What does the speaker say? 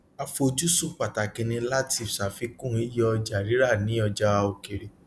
àfojúsùn pàtàkì ní láti ṣàfikún iye ọjà rírà ní ọjà òkèèrè